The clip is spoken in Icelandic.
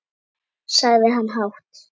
sagði hann hátt.